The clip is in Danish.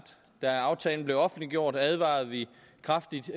da aftalen blev offentliggjort advarede vi kraftigt